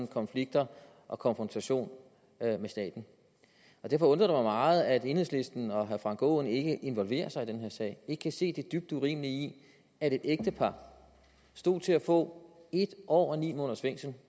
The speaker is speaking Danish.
konflikter og konfrontationer med staten derfor undrer det mig meget at enhedslisten og herre frank aaen ikke involverer sig i den her sag ikke kan se det dybt urimelige i at et ægtepar stod til at få en år og ni måneders fængsel